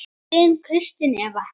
Þín Kristín Eva.